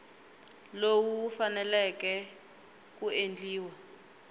lowu wu faneleke ku endliwa